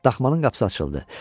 Daxmanın qapısı açıldı.